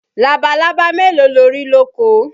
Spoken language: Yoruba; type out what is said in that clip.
Labalábá mélòó lo rí lóko?